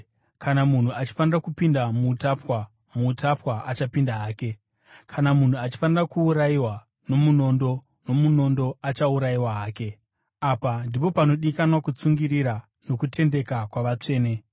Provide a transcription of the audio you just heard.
Kana munhu achifanira kupinda muutapwa, muutapwa achapinda hake. Kana munhu achifanira kuurayiwa nomunondo, nomunondo achaurayiwa hake. Apa ndipo panodikanwa kutsungirira nokutendeka kwavatsvene.